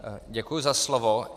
Děkuji za slovo.